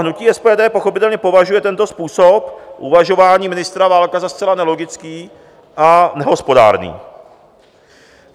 Hnutí SPD pochopitelně považuje tento způsob uvažování ministra Válka za zcela nelogický a nehospodárný.